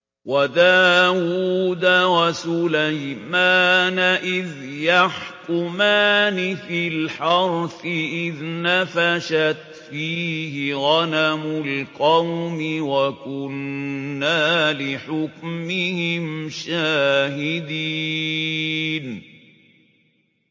وَدَاوُودَ وَسُلَيْمَانَ إِذْ يَحْكُمَانِ فِي الْحَرْثِ إِذْ نَفَشَتْ فِيهِ غَنَمُ الْقَوْمِ وَكُنَّا لِحُكْمِهِمْ شَاهِدِينَ